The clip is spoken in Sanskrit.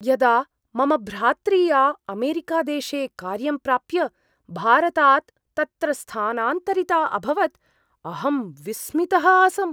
यदा मम भ्रात्रीया अमेरिकादेशे कार्यं प्राप्य भारतात् तत्र स्थानान्तरिता अभवत् अहं विस्मितः आसम्।